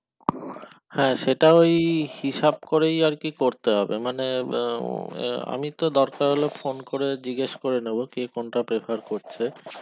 হ্যাঁ তো সেটাই হিসাব করে আরকি করতে হবে মানে আমি তো দরকার হলে phone করে জিগেশ করে নিবে ক কোনটা prefer করছে